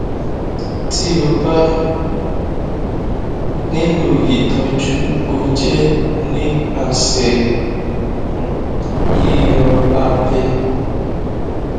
ti o ba nilo itọju o jẹ nipasẹ um yiyọ abẹ